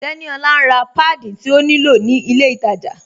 Teníolá n rá pádí tí ó ní lọ̀ ni ilẹ̀ ìtajá